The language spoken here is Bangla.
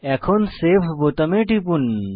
এখন সেভ বোতামে টিপুন